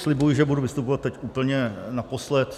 Slibuji, že budu vystupovat teď úplně naposled.